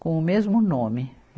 com o mesmo nome.